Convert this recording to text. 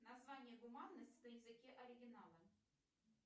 название гуманность на языке оригинала